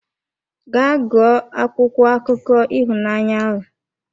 Gaa gụọ akwụkwọ akụkọ ịhụnanya ahụ!